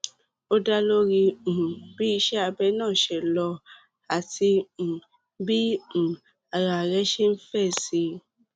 ó dá lórí um bí iṣẹ abẹ náà ṣe lọ àti um bí um ara rẹ ṣe ń fèsì